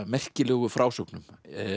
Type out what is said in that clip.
merkilegu frásögnum